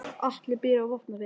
Atli býr á Vopnafirði.